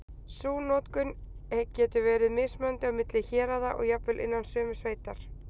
Sú notkun getur verið mismunandi á milli héraða og jafnvel innan sömu sveitar.